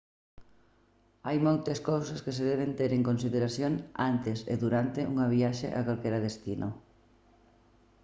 hai moitas cousas que se deben ter en consideración antes e durante unha viaxe a calquera destino